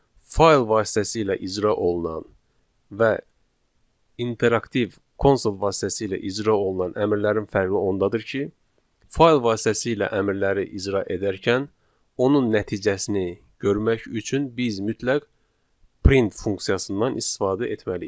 Fayl vasitəsilə icra olunan və interaktiv konsol vasitəsilə icra olunan əmrlərin fərqi ondadır ki, fayl vasitəsilə əmrləri icra edərkən, onun nəticəsini görmək üçün biz mütləq print funksiyasından istifadə etməliyik.